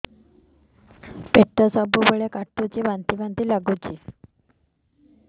ପେଟ ସବୁବେଳେ କାଟୁଚି ବାନ୍ତି ବାନ୍ତି ବି ଲାଗୁଛି